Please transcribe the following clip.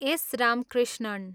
S. Ramakrishnan